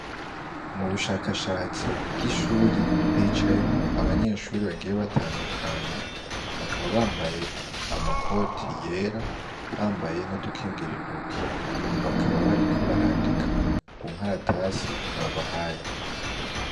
Mubushakatsi bw'ishuri hicayemwo abanyeshure bagiye batandukanye, bakaba bambaye amakoti yera ,bambaye n'udukingir'intoki, bakaba bariko barandika kunkaratasi babahaye.